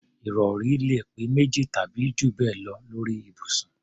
Ìrọ̀rí lè pé méjì tàbí jù bẹ́ẹ̀ lọ lórí ibùsùn